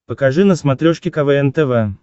покажи на смотрешке квн тв